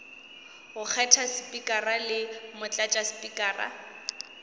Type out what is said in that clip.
go kgetha spikara le motlatšaspikara